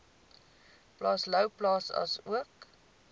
plaas louwplaas asook